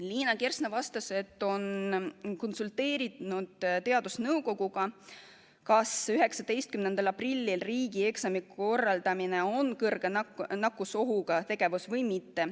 Liina Kersna vastas, et on konsulteerinud teadusnõukojaga, kas 19. aprillil riigieksami korraldamine on kõrge nakkusohuga tegevus või mitte.